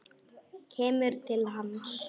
Kemur til hans.